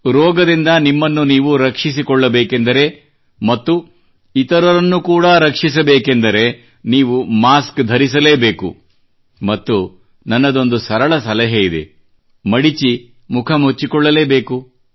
ರೋಗದಿಂದ ನಿಮ್ಮನ್ನು ನೀವು ರಕ್ಷಿಸಿಕೊಳ್ಳಬೇಕೆಂದರೆ ಮತ್ತು ಇತರರನ್ನು ಕೂಡಾ ರಕ್ಷಿಸಬೇಕೆಂದರೆ ನೀವು ಮಾಸ್ಕ್ ಧರಿಸಲೇ ಬೇಕು ಮತ್ತು ನನ್ನದೊಂದು ಸರಳ ಸಲಹೆ ಇದೆ ಮಡಿಚಿ ಮುಖ ಮುಚ್ಚಿಕೊಳ್ಳಲೇಬೇಕು